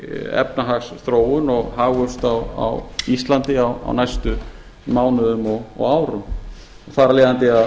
efnahagsþróun og hagvöxt á íslandi á næstu mánuðum og árum þar af leiðandi